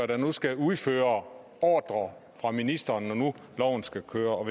der nu skal udføre ordrer fra ministeren når nu loven skal køre og